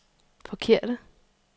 forkerte